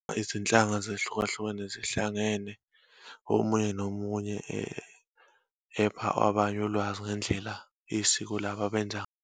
Izinhlanga zehlukahlukene zihlangene, omunye nomunye epha abanye ulwazi ngendlela isiko labo abenza.